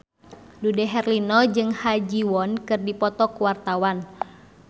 Dude Herlino jeung Ha Ji Won keur dipoto ku wartawan